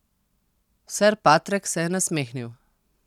Ser Patrek se je nasmehnil.